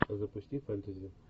запусти фэнтези